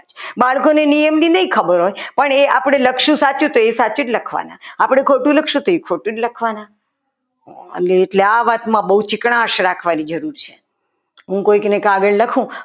બાળકોને નિયમોની નહીં ખબર હોય પણ આપણી સાચું લખશું તો એ સાચું જ લખવાના આપણે ખોટું લખશો તો એ ખોટું જ લખવાના અને એટલે આ વાતમાં બહુ ચીકણા રાખવાની જરૂર છે હું કોઈકને કાગળ લખું.